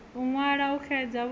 u ṅwala u xedza vhuṱala